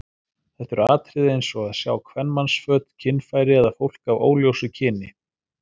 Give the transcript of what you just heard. Þetta eru atriði eins og að sjá kvenmannsföt, kynfæri eða fólk af óljósu kyni.